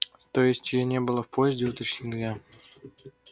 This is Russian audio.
то есть её не было в поезде уточнил я